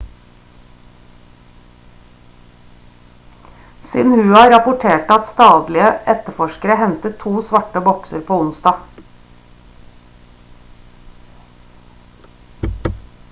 xinhua rapporterte at statlige etterforskere hentet to «svarte bokser» på onsdag